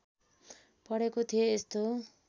पढेको थिएँ यस्तो